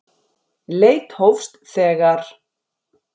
Leit hófst þegar